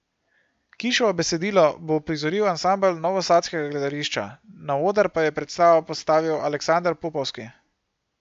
Kiševo besedilo bo uprizoril ansambel Novosadskega gledališča, na oder pa je predstavo postavil Aleksander Popovski.